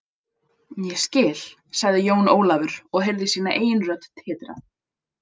Ég skil, sagði Jón Ólafur og heyrði sína eigin rödd titra.